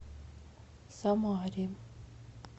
самаре